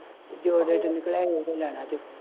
ਜੋ ਓਹਦੇ ਚੋ ਨਿਕਲਿਆ ਓਹੀ ਲੈਣਾ ਜੇ